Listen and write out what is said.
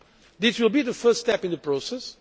This will be the first step in the process.